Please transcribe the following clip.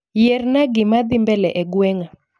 Yierna gikmadhii mbele e gweng'a